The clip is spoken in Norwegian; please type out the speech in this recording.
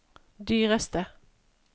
dyreste